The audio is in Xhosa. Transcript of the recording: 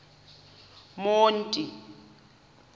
monti